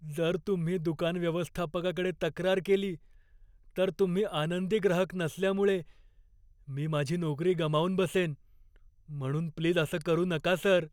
जर तुम्ही दुकान व्यवस्थापकाकडे तक्रार केली, तर तुम्ही आनंदी ग्राहक नसल्यामुळे मी माझी नोकरी गमावून बसेन, म्हणून प्लीज असं करू नका, सर.